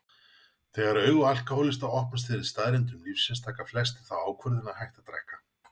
Þegar augu alkohólista opnast fyrir staðreyndum lífsins taka flestir þá ákvörðun að hætta að drekka.